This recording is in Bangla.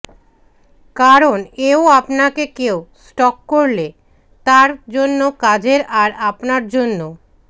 কারন এও আপনাকে কেউ স্টক করলে তার জন্য কাজের আর আপনার জন্য